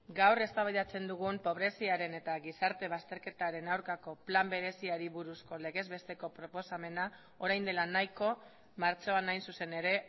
gaur eztabaidatzen dugun pobreziaren eta gizarte bazterketaren aurkako plan bereziari buruzko legez besteko proposamena orain dela nahiko martxoan hain zuzen ere